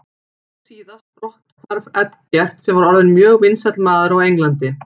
Nú síðast brotthvarf Eggerts sem var orðinn mjög vinsæll maður á Englandi.